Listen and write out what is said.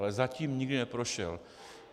Ale zatím nikdy neprošel.